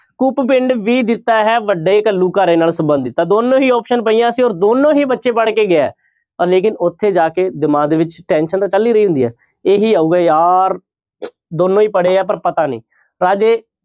ਕੂਪ ਪਿੰਡ ਵੀ ਦਿੱਤਾ ਹੈ ਵੱਡੇ ਘੱਲੂਘਾਰੇ ਨਾਲ ਸੰਬੰਧਤ ਤਾਂ ਦੋਨੋਂ ਹੀ option ਪਈਆਂ ਸੀ ਔਰ ਦੋਨੋਂ ਹੀ ਬੱਚੇ ਪੜ੍ਹ ਕੇ ਗਿਆ ਹੈ ਔਰ ਲੇਕਿੰਨ ਉੱਥੇ ਜਾ ਕੇ ਦਿਮਾਗ ਦੇ ਵਿੱਚ tension ਤਾਂ ਚੱਲ ਹੀ ਰਹੀ ਹੁੰਦੀ ਹੈ ਇਹੀ ਆਊਗਾ ਯਾਰ ਦੋਨੋਂ ਹੀ ਪੜ੍ਹੇ ਆ ਪਰ ਪਤਾ ਨੀ ਰਾਜੇ